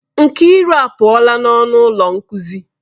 Nkiru apuola n'ọnụ ụlọ nkuzi.